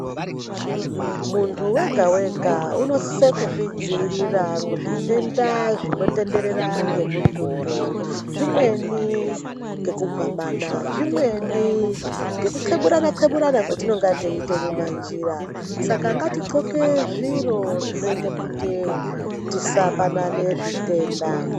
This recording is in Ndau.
Muntu wega wega unosise kuzvidziirira kuzvitenda zvinotenderera ngemututu, zvimweni ngekugwamana, zvimweni ngekutxeburana-txeburana kwetinenge teiite mumanjira, saka ngatidhloke zviro zvinoite kuti tisapanane zvitenda.